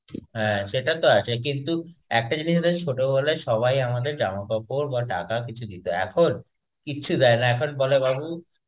হ্যাঁ, সেটা তো আছে. একটা জিনিস দেখেছিস ছোটবেলায় সবাই আমাদের জামাকাপড়, বা টাকা কিছু দিতো. এখন, কিছু দেয়না, এখন বলে বাবু,